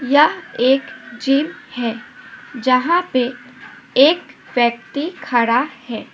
यह एक जिम है जहां पे एक व्यक्ति खड़ा है।